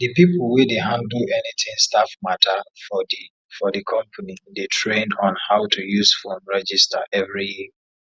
di people wey dey handle anything staff matter for di for di company dey train on how to use phone register every year